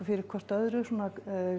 fyrir hvort öðru svona